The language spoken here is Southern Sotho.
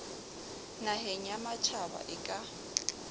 naheng ya matjhaba e ka